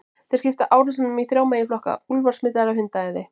Þeir skipta árásunum í þrjá meginflokka: Úlfar smitaðir af hundaæði.